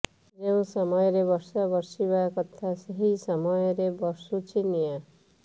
ଯେଉଁ ସମୟରେ ବର୍ଷା ବର୍ଷିବା କଥା ସେହି ସମୟରେ ବର୍ଷୁଛି ନିଆଁ